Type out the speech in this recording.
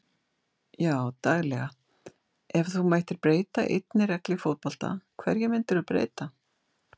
Já daglega Ef þú mættir breyta einni reglu í fótbolta, hverju myndir þú breyta?